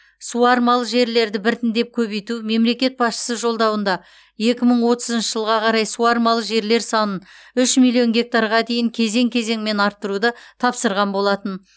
суармалы жерлерді біртіндеп көбейту мемлекет басшысы жолдауында екі мың отызыншы жылға қарай суармалы жерлер санын үш миллион гектарға дейін кезең кезеңмен арттыруды тапсырған болатын